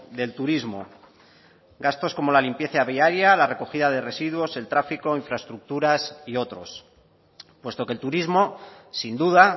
del turismo gastos como la limpieza viaria la recogida de residuos el tráfico infraestructuras y otros puesto que el turismo sin duda